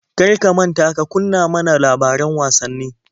Kar ka manta ka kunna ma na labaran wasanni.